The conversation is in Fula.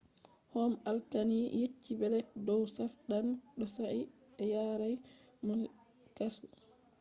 alkali man yecci blek dow saɗan sosai” ɓe yarai mo kasu